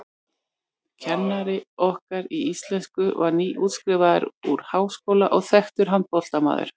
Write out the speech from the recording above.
Kennari okkar í íslensku var nýútskrifaður úr háskóla og þekktur handknattleiksmaður.